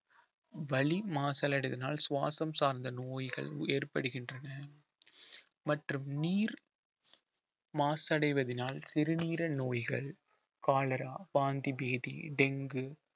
வலி மாசல் அடைவதினால் சுவாசம் சார்ந்த நோய்கள் ஏற்படுகின்றன மற்றும் நீர் மாசடைவதினால் சிறுநீரக நோய்கள் காலரா வாந்தி பேதி டெங்கு